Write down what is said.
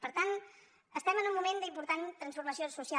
per tant estem en un moment d’important transforma·ció social